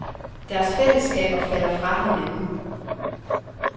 Deres fællesskaber falder fra hinanden.